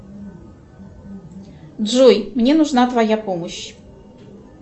джой мне нужна твоя помощь